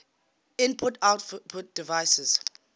input output devices